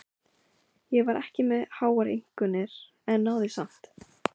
Ég var ekki með háar einkunnir en náði samt.